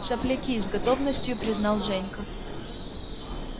сопляки и с готовностью признал женька